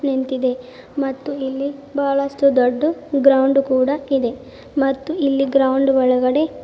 ನಿಂತಿದೆ ಮತ್ತು ಇಲ್ಲಿ ಬಹಳಷ್ಟು ದೊಡ್ಡ ಗ್ರೌಂಡ್ ಕೂಡ ಇದೆ ಮತ್ತು ಇಲ್ಲಿ ಗ್ರೌಂಡ್ ಒಳಗಡೆ--